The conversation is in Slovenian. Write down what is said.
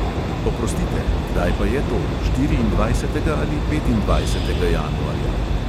Oprostite, kdaj pa je to, štiriindvajsetega ali petindvajsetega januarja?